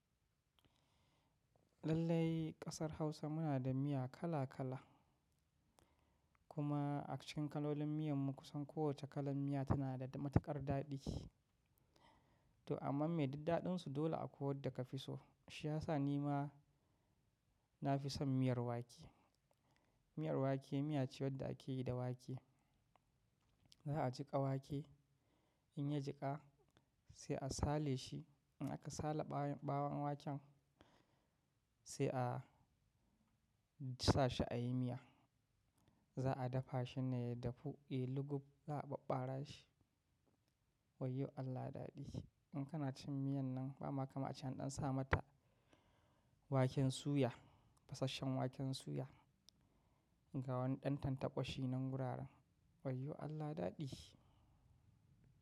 Lallai kasar Hausa muna da miya kala kala. Kuma a cikin kalolin miyan mu kusan kowace kalan miya tana da matukar daɗi ki. To amma me diddaɗin su dole a ko wadda ka fi so. Shi ya sa ni ma na fi son miyar wake. Miyar wake miya ce wadda ake yi da wake. Za a jiƙa wake, in ya jiƙa sai a sale shi. In aka sale ɓawon waken sai a sa shi a yi miya. Za a dafa shi ne yadafu yai lugubba a ɓara shi. Wayyo Allah daɗi In kana cin miyan nan ba ma kama cian ɗan sa mata waken suya, fasasshen waken suya ga wani ɗan tantakwashi nan wuraren. Wayyo Allah daɗe.